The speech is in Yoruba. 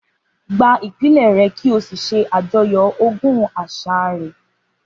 Gba ìpìlẹ̀ rẹ kí o sì ṣe àjọyọ̀ ogún àṣà rẹ